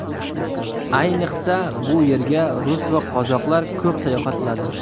Ayniqsa, bu yerga rus va qozoqlar ko‘p sayohat qiladi.